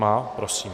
Má. Prosím.